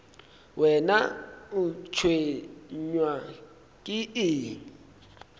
wena o tshwenywa ke eng